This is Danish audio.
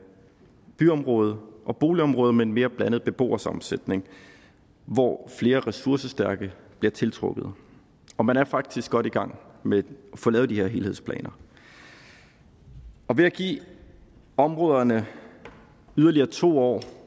byområde og boligområder med en mere blandet beboersammensætning hvor flere ressourcestærke bliver tiltrukket og man er faktisk godt i gang med at få lavet de her helhedsplaner ved at give områderne yderligere to år